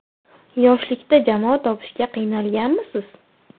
Yoshlikda jamoa topishga qiynalganmisiz?